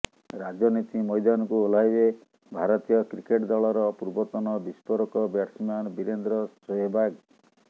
ରାଜନୀତି ମଇଦାନକୁ ଓହ୍ଲାଇବେ ଭାରତୀୟ କ୍ରିକେଟ୍ ଦଳର ପୂର୍ବତନ ବିସ୍ଫୋରକ ବ୍ୟାଟ୍ସମ୍ୟାନ୍ ବିରେନ୍ଦ୍ର ସେହଓ୍ୱାଗ୍